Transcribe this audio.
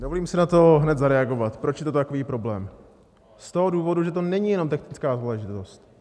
Dovolím si na to hned zareagovat, proč je to takový problém - z toho důvodu, že to není jenom technická záležitost.